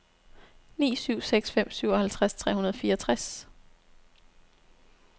ni syv seks fem syvoghalvtreds tre hundrede og fireogtres